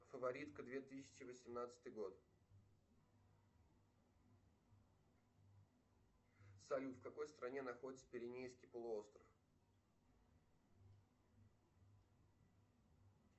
фаворитка две тысячи восемнадцатый год салют в какой стране находится пиренейский полуостров